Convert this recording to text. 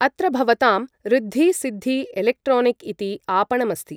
अत्र भवतां ऋद्धि सिद्धि इलेक्ट्रोनिक् इति आपणमस्ति ।